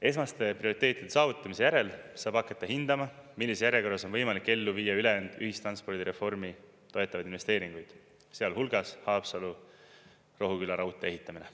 Esmaste prioriteetide saavutamise järel saab hakata hindama, millises järjekorras on võimalik ellu viia ülejäänud ühistranspordireformi toetavaid investeeringuid, sealhulgas Haapsalu-Rohuküla raudtee ehitamine.